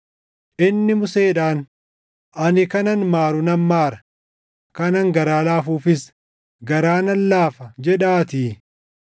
Inni Museedhaan, “Ani kanan maaru nan maara; kanan garaa laafuufiis garaa nan laafa” + 9:15 \+xt Bau 33:19\+xt* jedhaatii.